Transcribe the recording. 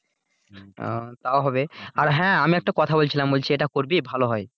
আহ তাও হবে আর হ্যাঁ আমি একটা কথা বলছিলাম এটা করবি এটা ভালো হয়?